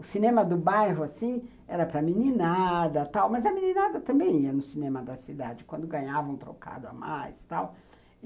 O cinema do bairro era para meninada tal, mas a meninada também ia ao cinema da cidade quando ganhava um trocado a mais tal.